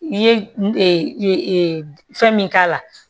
I ye fɛn min k'a la